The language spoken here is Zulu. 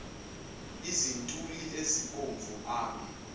izintuli ezibomvu ame